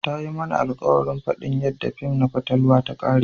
Ta yi mana alkawarin fadin yadda fin na fatalwa ta kare.